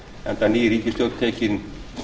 enda ný ríkisstjórn tekin